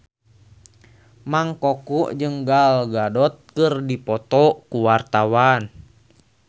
Mang Koko jeung Gal Gadot keur dipoto ku wartawan